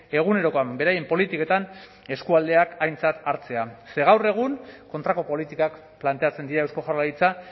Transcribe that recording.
egunerokoan beraien politiketan eskualdeak aintzat hartzea ze gaur egun kontrako politikak planteatzen dira eusko jaurlaritza